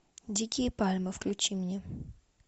дикие пальмы включи мне